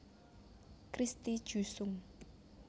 Christy Jusung